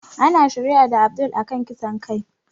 Ana shari'a da Abdul a kan kisan kai